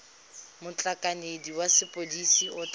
motlhankedi wa sepodisi o tla